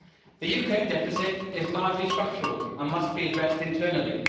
The UK deficit is largely structural and must be addressed internally.